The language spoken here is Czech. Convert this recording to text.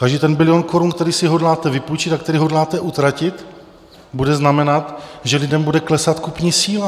Každý ten bilion korun, který si hodláte vypůjčit a který hodláte utratit, bude znamenat, že lidem bude klesat kupní síla.